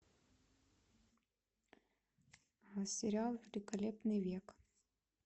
сериал великолепный век